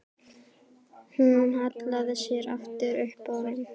Hún hallaði sér aftur upp að honum.